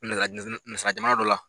S Naz nazara jamana dɔ la.